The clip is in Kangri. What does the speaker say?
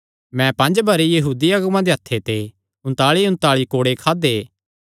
मैं पंज बरी यहूदी अगुआं दे हत्थे ते उन्तांलीउन्तांली कोड़े खादे